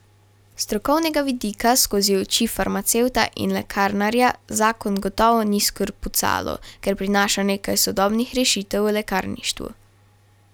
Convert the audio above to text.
S strokovnega vidika, skozi oči farmacevta in lekarnarja, zakon gotovo ni skrpucalo, ker prinaša nekaj sodobnih rešitev v lekarništvu.